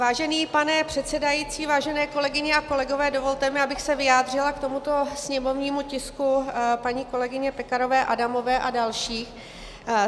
Vážený pane předsedající, vážené kolegyně a kolegové, dovolte mi, abych se vyjádřila k tomuto sněmovnímu tisku paní kolegyně Pekarové Adamové a dalších.